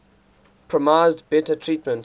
promised better treatment